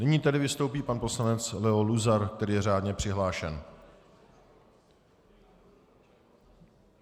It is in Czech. Nyní tedy vystoupí pan poslanec Leo Luzar, který je řádně přihlášen.